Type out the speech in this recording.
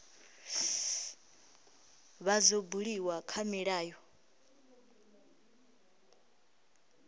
vha dzo buliwa kha milayo